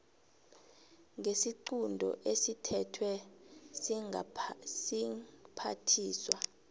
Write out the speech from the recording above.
ngesiqunto esithethwe siphathiswa